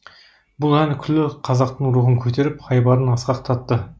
бұл ән күллі қазақтың рухын көтеріп айбарын асқақтатты